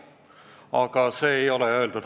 Aga see ei ole halvasti öeldud.